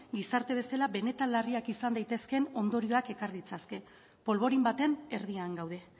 gizarte bezala benetan larriak izan daitezke ondorioak ekar ditzake polborin baten erdian gaude